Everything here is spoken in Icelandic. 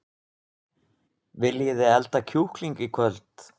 Viljiði elda kjúkling í kvöld?